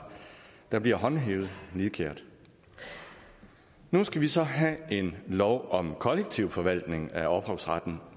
der bliver håndhævet nidkært nu skal vi så have en lov om kollektiv forvaltning af ophavsretten